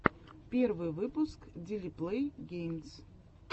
первый выпуск дили плэй геймс